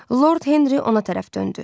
Lord Henri ona tərəf döndü.